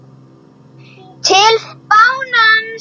TIL FÁNANS